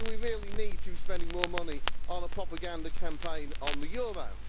Do we really need to be spending more money on a propaganda campaign on the euro?